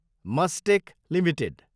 Mastek Ltd